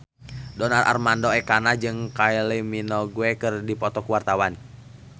Donar Armando Ekana jeung Kylie Minogue keur dipoto ku wartawan